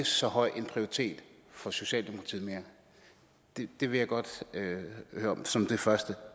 så høj en prioritet for socialdemokratiet det vil jeg godt høre om som det første